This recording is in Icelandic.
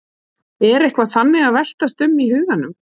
Er eitthvað þannig að veltast um í huganum?